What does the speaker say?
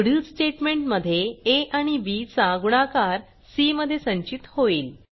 पुढील स्टेटमेंट मध्ये आ आणि बी चा गुणाकार सी मध्ये संचित होईल